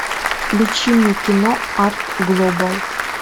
включи мне кино арт глобал